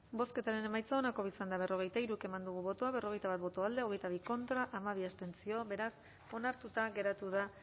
bozketaren emaitza onako izan da berrogeita hiru eman dugu bozka berrogeita bat boto alde hogeita bi contra hamabi abstentzio beraz onartuta geratu da